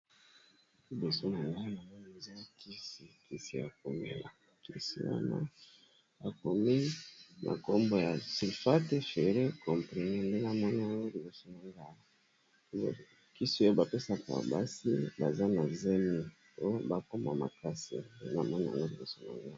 Liboso na nga namoni eza kisi ya komela kisi wana ya komela na kombo ya sylfate fere komprene nde namomi kisi oyo, bapesaka basi baza na zemi po bakoma makasi, namoni yango liboso na nga awa.